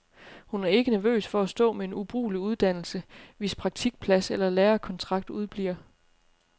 Hun er ikke nervøs for at stå med en ubrugelig uddannelse, hvis praktikplads eller lærekontrakt udebliver.